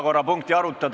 Kohtumiseni homme!